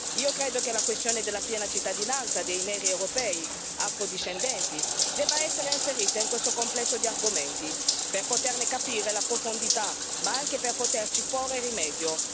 Io credo che la questione della piena cittadinanza dei neri europei, afro discendenti, debba essere inserita in questo complesso di argomenti, per poterne capire la profondità, ma anche per poterci porre rimedio.